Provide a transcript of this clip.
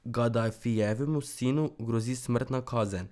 Gadafijevemu sinu grozi smrtna kazen.